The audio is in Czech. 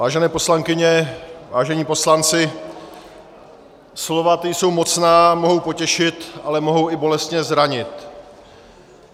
Vážené poslankyně, vážení poslanci, slova, ta jsou mocná, mohou potěšit, ale mohou i bolestně zranit.